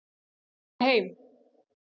Velkomin heim.